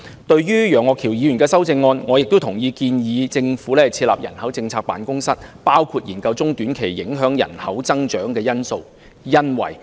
對於楊岳橋議員的修正案，我亦同意建議政府設立人口政策辦公室，包括研究各項中短期影響人口增長的因素。